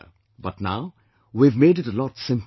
But now we have made it a lot simpler